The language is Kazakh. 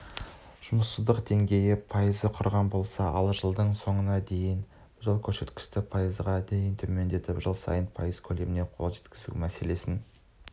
жұмыссыздық деңгейі пайызды құраған болса жылдың соңына дейін біз ол көрсеткішті пайызға дейін төмендетіп жыл сайын пайыз көлеміне қол жеткізу маселесін